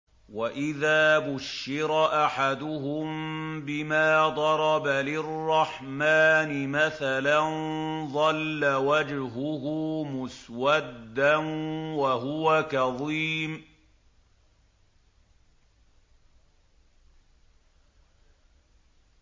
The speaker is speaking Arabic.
وَإِذَا بُشِّرَ أَحَدُهُم بِمَا ضَرَبَ لِلرَّحْمَٰنِ مَثَلًا ظَلَّ وَجْهُهُ مُسْوَدًّا وَهُوَ كَظِيمٌ